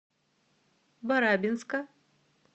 барабинска